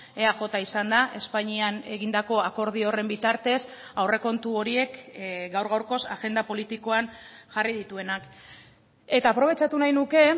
eaj izan da espainian egindako akordio horren bitartez aurrekontu horiek gaur gaurkoz agenda politikoan jarri dituenak eta aprobetxatu nahi nuke